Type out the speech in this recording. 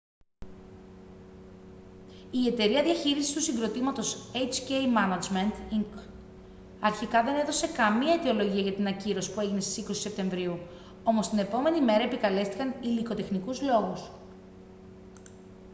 η εταιρεία διαχείρισης του συγκροτήματος hk management inc αρχικά δεν έδωσε καμία αιτιολογία για την ακύρωση που έγινε στις 20 σεπτεμβρίου όμως την επόμενη μέρα επικαλέστηκαν υλικοτεχνικούς λόγους